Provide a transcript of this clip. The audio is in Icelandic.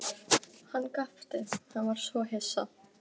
Jón hellti síðustu lögginni í staupið hjá Jóhanni.